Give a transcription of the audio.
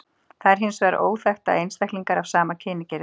Það er hins vegar óþekkt að einstaklingar af sama kyni geri það.